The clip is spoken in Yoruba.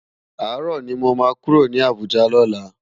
Àárò ni mó má kúró ni Abuja lòlá